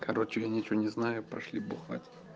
короче я ничего не знаю пошли бухать